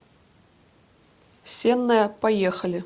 сенная поехали